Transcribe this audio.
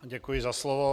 Děkuji za slovo.